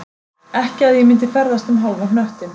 Ekki að ég myndi ferðast um hálfan hnöttinn